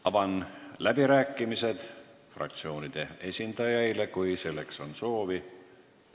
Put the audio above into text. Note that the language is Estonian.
Avan läbirääkimised fraktsioonide esindajaile, kui selleks on soovi.